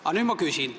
Aga nüüd ma küsin.